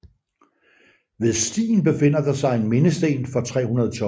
Ved stien befinder der sig en mindesten for 312